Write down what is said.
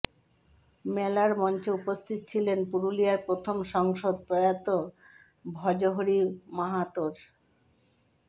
মেলার মঞ্চে উপস্থিত ছিলেন পুরুলিয়ার প্রথম সাংসদ প্রয়াত ভজহরি মাহাতোর